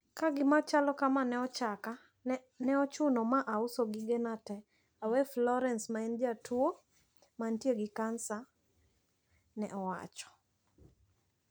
Ka gimachalo kama ne ochaka, ne ochuno ma auso gigena te, Awa Florence ma en jatuo mantie gi kansa ne owacho.